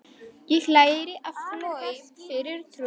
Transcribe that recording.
Ég lærði að hlaupa fyrir trú.